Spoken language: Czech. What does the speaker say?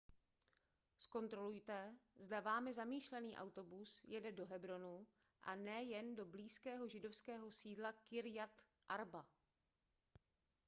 zkontrolujte zda vámi zamýšlený autobus jede do hebronu a ne jen do blízkého židovského sídla kirjat arba